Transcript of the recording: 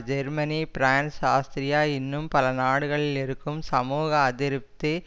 Germany France Austria இன்னும் பல நாடுகளில் இருக்கும் சமூக அதிருப்தி